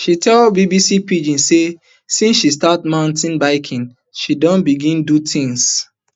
she tell bbc pidgin say since she start mountain biking she don begin do tins